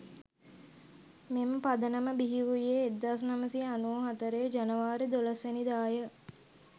මෙම පදනම බිහිවූයේ 1994 ජනවාරි 12 වැනිදා ය.